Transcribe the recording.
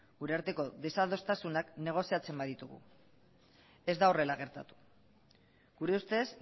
gura arteko desadostasunak negoziatzen baditugu ez da horrela gertatu gure ustez